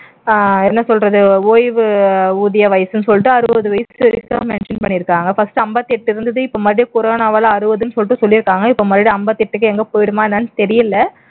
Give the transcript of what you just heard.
அஹ் என்ன சொல்றது ஓய்வு ஊதிய வயசுன்னு சொல்லிட்டு அறுபது வயசு வரைக்கும் mention பண்ணிருக்காங்க first ஐம்பத்தெட்டு இருந்தது இப்போ மறுபடியும் கொரோனாவால அறுபதுன்னு சொல்லிட்டு சொல்லி இருக்காங்க இப்ப மறுபடியும் ஐம்பத்து எட்டுக்கு எங்க போயிருமா என்னன்னு தெரியல